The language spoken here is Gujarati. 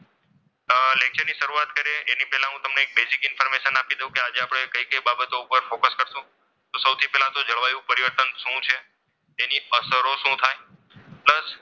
આહ lecture ની શરૂઆત કરીએ એ પહેલાં હું તમને basic information આપી દઉં કે આજે આપણે કઈ કઈ બાબતો ઉપર focus કરીશું. તો સૌથી પહેલા જળવાયું પરિવર્તન શું છે? તેની અસરો શું થાય?